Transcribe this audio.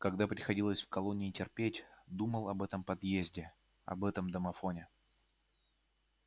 когда приходилось в колонии терпеть думал об этом подъезде об этом домофоне